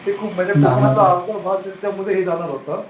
ते खूप म्हणजे अर्धा भाग त्यामध्ये हे जाणार होतं